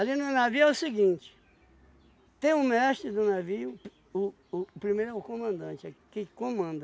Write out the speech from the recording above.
no navio é o seguinte, tem um mestre do navio, o o o primeiro é o comandante, é que comanda.